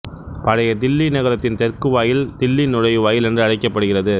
பழைய தில்லி நகரத்தின் தெற்கு வாயில் தில்லி நுழைவாயில் என்று அழைக்கப்படுகிறது